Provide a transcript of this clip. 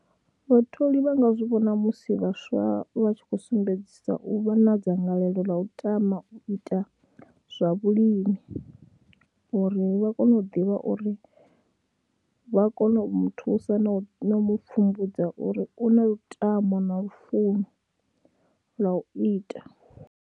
Vhatholi vha nga zwi vhona musi vhaswa vha tshi khou sumbedzisa u vha na dzangalelo ḽa u tama u ita zwa vhulimi uri vha kone u ḓivha uri vha kone u mu thusa na u mu pfhumbudza uri u na lutamo na lufuno lwa u ita.